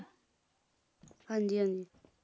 ਹਾਂਜੀ ਹਾਂਜੀ